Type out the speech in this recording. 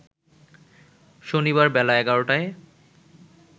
শনিবার বেলা ১১টায়